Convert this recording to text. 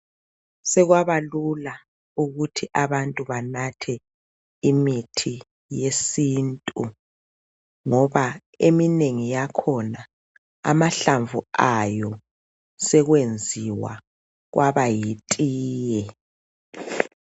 Sekwabalula ukuthi abantu banathe imithi yesiNtu ngoba eminengi yakhona amahlamvu ayo sekwenziwa kwaba yitiye.